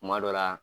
Kuma dɔ la